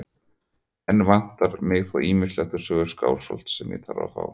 Enn vantar mig þó ýmislegt úr sögu Skálholts sem ég þarf að fá.